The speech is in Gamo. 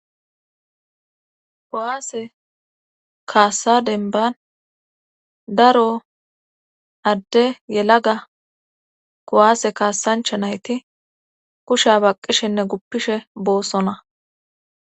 Kowaase kaassa denban daro adde yelaga kowaase kaassancha nayti kusha baqqishenne guppishe boossona.